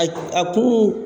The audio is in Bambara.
A kun